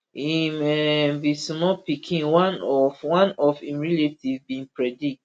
im um bin small pikin one of one of im relative bin predict